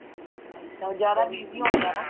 ਅੱਛਾ ਜ਼ਿਆਦਾ busy ਹੋਣੀ ਏ ਨਾ